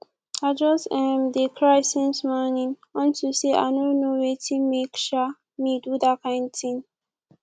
i just um dey cry since morning unto say i no know wetin make um me do dat kin thing